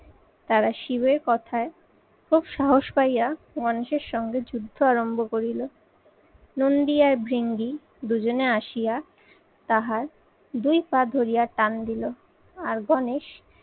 তারা শিবের কথায় খুব সাহস পাইয়া মানুষের সঙ্গে যুদ্ধ আরম্ভ করিল। নন্দি আর বৃঙ্গি দুজনে আসিয়া তাহার, দুই পা ধরিয়া টান দিল আর গণেশ